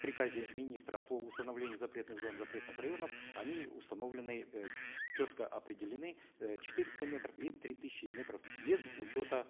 приказе министра по установлению запретных зон запретных районов они установлены э четко определены э четыреста метров и три тысячи метров без учета